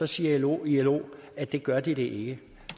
siger ilo ilo at det gør de ikke